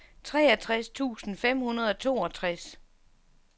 treogtres tusind fem hundrede og toogtres